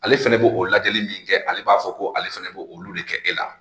Ale fɛnɛ b'o lajɛli min kɛ ale b'a fɔ ko ale fɛnɛ b'o olu de kɛ e la